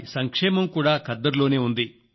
వారి సంక్షేమం కూడా ఖద్దరులోనే ఉంది